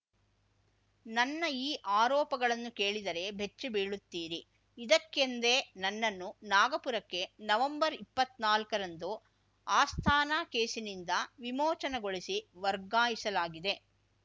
ನನ್ನ ಈ ಆರೋಪಗಳನ್ನು ಕೇಳಿದರೆ ಬೆಚ್ಚಿ ಬೀಳುತ್ತೀರಿ ಇದಕ್ಕೆಂದೇ ನನ್ನನ್ನು ನಾಗಪುರಕ್ಕೆ ನವೆಂಬರ್ಇಪ್ಪತ್ನಾಲ್ಕರಂದು ಅಸ್ಥಾನಾ ಕೇಸಿನಿಂದ ವಿಮೋಚನೆಗೊಳಿಸಿ ವರ್ಗಾಯಿಸಲಾಗಿದೆ